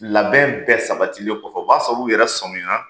Labɛn bɛɛ sabatilen kɔfɛ o b'a sɔrɔ u yɛrɛ sɔmina